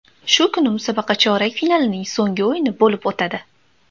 Shu kuni musobaqa chorak finalining so‘nggi o‘yini bo‘lib o‘tadi.